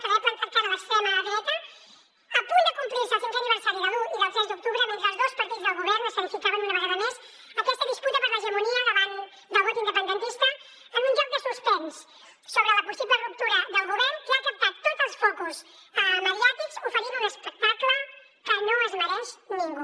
per haver plantat cara a l’extrema dreta a punt de complir se el cinquè aniversari de l’un i del tres d’octubre mentre els dos partits del govern escenificaven una vegada més aquesta disputa per l’hegemonia davant del vot independentista en un joc de suspens sobre la possible ruptura del govern que ha captat tots els focus mediàtics oferint un espectacle que no es mereix ningú